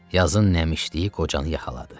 Yazın nəmişliyi qocanı yaxaladı.